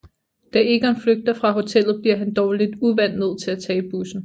Da Egon flygter fra hotellet bliver han dog lidt uvant nød til at tage bussen